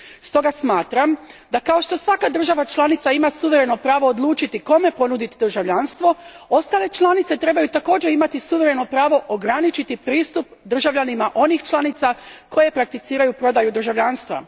Stoga smatram da kao što svaka država članica ima suvereno pravo odlučiti kome ponuditi državljanstvo, ostale članice trebaju također imati suvereno pravo ograničiti pristup državljanima onih država članica koje prakticiraju prodaju državljanstva.